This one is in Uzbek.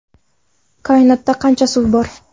Koinotda qancha suv bor?.